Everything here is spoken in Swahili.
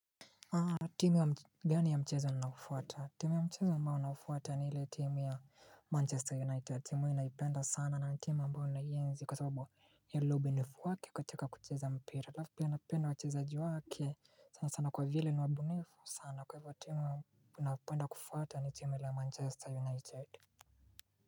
Timu, gani ya mchezo ninao ufwata? Timu ya mchezo ambao naufuata ni ile timu ya Manchester United. Timu ninaipenda sana na timu ambayo ninaienzi kwa sababu ya ile ubunifu wake katika kucheza mpira. Halafu pia napenda wachezaji wake sana sana kwa vile ni wabunifu sana. Kwa hivyo timu ninayo penda kufuata ni timu ile ya Manchester United.